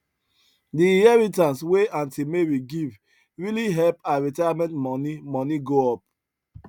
the inheritance wey aunt mary give really help her retirement money money go up